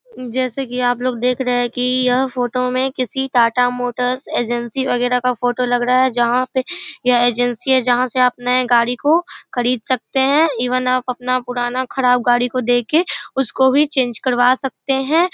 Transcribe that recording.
जैसे की आप लोग देख रहे है की यह फोटो यह किसी टाटा मोटर्स एजेंसी वगरह का फोटो लग रहा है जहां पे यहाँ एजेंसी है। जहां से आप नए गाड़ी को खरीद सकते है । इवन आप अपना पुराना खराब गाड़ी को देके उसको भी चेंज करवा सकते हैं।